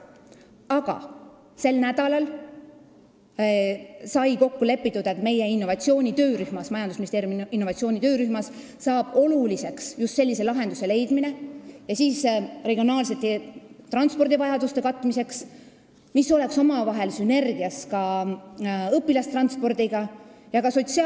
Aga sel nädalal sai kokku lepitud, et majandusministeeriumi innovatsioonitöörühmas saab oluliseks just sellise lahenduse leidmine regionaalsete transpordivajaduste katmiseks, mis oleks sünergias ka õpilastranspordi ja sotsiaaltranspordiga.